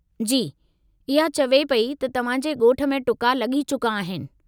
जी, इहा चवे पेई त तव्हां जे ॻोठ में टुका लॻी चुका आहिनि।